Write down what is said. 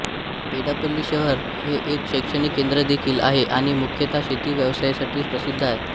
पेड्डापल्ली शहर हे एक शैक्षणिक केंद्र देखील आहे आणि मुख्यतः शेती व्यवसायासाठी प्रसिद्ध आहे